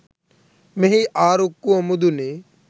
මෙහි ආරුක්කුව මුදුනේ